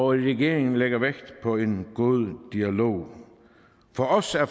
regeringen lægger vægt på en god dialog for os er